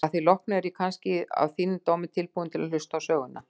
Að því loknu er ég kannski að þínum dómi tilbúinn til að hlusta á söguna.